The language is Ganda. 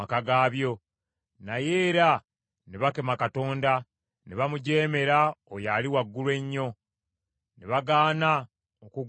Naye era ne bakema Katonda; ne bamujeemera oyo Ali Waggulu Ennyo, ne bagaana okugondera ebiragiro bye.